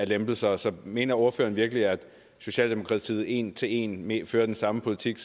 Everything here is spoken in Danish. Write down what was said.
lempelser så mener ordføreren virkelig at socialdemokratiet en til en fører den samme politik